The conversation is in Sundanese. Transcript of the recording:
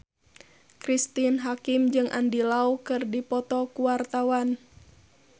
Cristine Hakim jeung Andy Lau keur dipoto ku wartawan